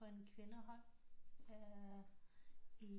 På et kvindehold i